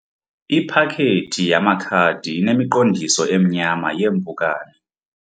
Iphakethi yamakhadi inemiqondiso emnyama yeempukane.